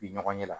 Bi ɲɔgɔn ɲɛ la